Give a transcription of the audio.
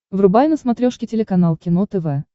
врубай на смотрешке телеканал кино тв